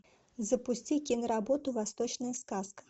запусти киноработу восточная сказка